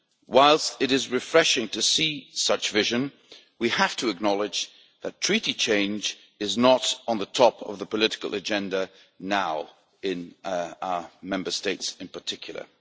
Whilst it is refreshing to see such vision, we have to acknowledge that Treaty change is not on the top of the political agenda now, in our Member States in particular.